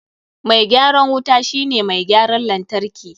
Mai gyaran wuta shi ne mai gyaran lantarki.